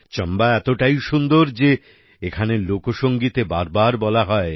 চাম্বা এতোটাই সুন্দর যে এখানের লোকসঙ্গীতে বার বার বলা হয়